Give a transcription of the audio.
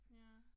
Ja